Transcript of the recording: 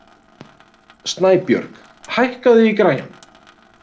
Snæbjörg, hækkaðu í græjunum.